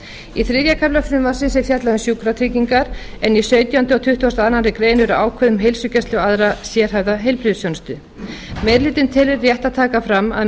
í þriðja kafla frumvarpsins er fjallað um sjúkratryggingar en í sautjándu og tuttugasta og aðra grein eru ákvæði um heilsugæslu og aðra sérhæfða heilbrigðisþjónustu meiri hlutinn telur rétt að taka fram að